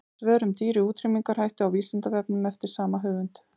Svör um dýr í útrýmingarhættu á Vísindavefnum eftir sama höfund.